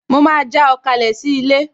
Mo máa já ọ kalẹ̀ sí ilé